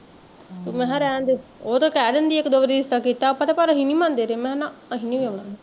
ਤੇ ਮੈਂ ਕਿਹਾਂ ਰਹਣਦੇ ਉਹ ਤਾਂ ਕਹਿ ਦਿੰਦੀ ਇੱਕ ਦੋ ਵਾਰੀ ਰਿਸਤਾ ਕੀਤਾ ਆਪਾਂ ਤੇ ਘਰ ਆਲੇ ਨੀ ਮਨਦੇ ਕਹਿ ਦਿੰਦੇ ਮੈਂ ਕਿਹਾਂ ਨਾ ਅਸੀਂ ਨੀ ਵਿਆਹੁਣਾ